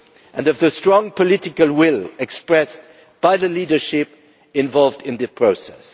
York and from the strong political will expressed by the leadership involved in the process.